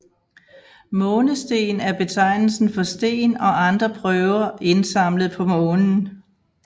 Månesten er betegnelsen for sten og andre prøver indsamlet på Månen